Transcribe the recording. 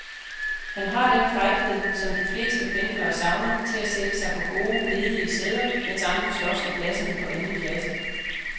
Han har den frækhed, som de fleste pendlere savner, til at sætte sig på gode, ledige sæder, mens andre slås om pladserne på anden klasse.